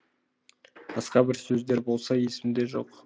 басқа бір сөздер болса есімде жоқ